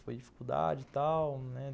Foi dificuldade e tal, né?